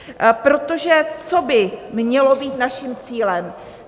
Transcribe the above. Protože co by mělo být naším cílem?